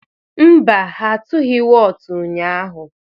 Mba, ha atụghị wọọtụ ụnyaahụ.